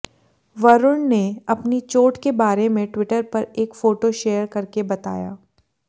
वरूण ने अपनी चोट के बारे में ट्विटर पर एक फोटो शेयर करके बताया